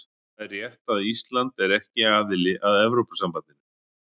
Það er rétt að Ísland er ekki aðili að Evrópusambandinu.